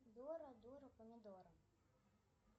дора дура помидора